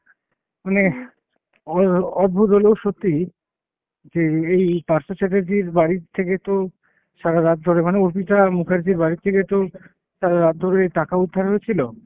মানে অ~ অদ্ভুত হলেও সত্যি যে এই পার্থ চ্যাটার্জির বাড়ির থেকে তো সারারাত ধরে মানে অর্পিতা মুখার্জ্জীর বাড়ির থেকে তো সারারাত ধরে টাকা উদ্ধার হয়েছিল।